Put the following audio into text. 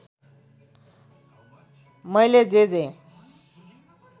मैले जे जे